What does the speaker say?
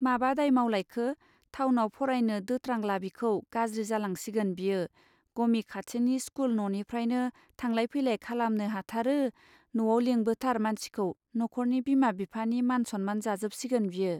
माबा दाय मावलायखो! थावनाव फरायनो दोत्रांला बिखौ गाज्रि जालांसिगोन बियो गमि खाथिनि स्कुल ननिफ्रायनो थांलाय फैलाय खालामनो हाथारो नआव लिंबोथार मानसिखौ नखरनि बिमा बिफानि मान सम्मान जाजोब सिगोन बियो.